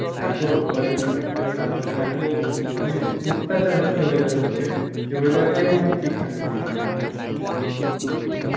এত pollution হচ্ছে তারপর ধর এত মানে অত্যাচার হচ্ছে weather এর ওপরে যে weather কেও মানে ঠিক থাকতে দিচ্ছে না